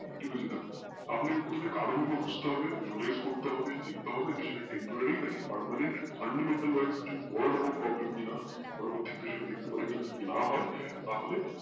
আপনাকে প্রথমে কারণ গুলো খুঁজতে হবে analyse করতে হবে দেখতে হবে বিষয় temporary নাকি permanent বোরো রকম problem কিনা পরবর্তী কালে সেটা দেখতে পারবো কিনা তাহলে